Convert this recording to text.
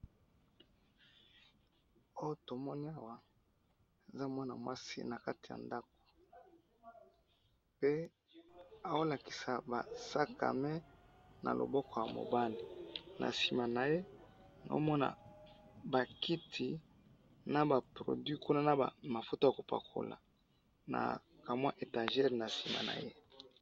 oyo tomoni awa eza mwana mwasi nakati ya ndaku pe azo lakisa ba sac a main na loboko ya mobali na sima naye nazomona ba kiti naba produit naba mafuta yakopakola na kamwa etagere na sima naye.